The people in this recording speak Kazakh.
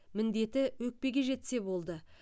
міндеті өкпеге жетсе болды